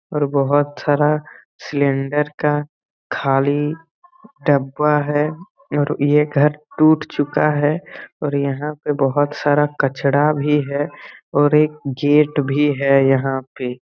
और बहुत सारा सिलेंडर का खाली डब्बा है और ये घर टूट चूका हैऔर यहाँ पे बहुत सारा कचरा भी है और एक गेट भी है यहा पे|